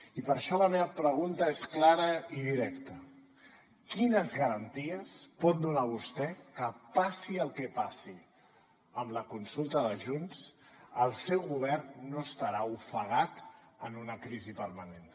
i per això la meva pregunta és clara i directa quines garanties pot donar vostè que passi el que passi amb la consulta de junts el seu govern no estarà ofegat en una crisi permanent